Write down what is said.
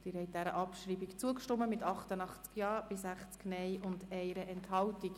Sie haben der Abschreibung zugestimmt mit 88 Ja- zu 60 Nein-Stimmen bei 1 Enthaltung.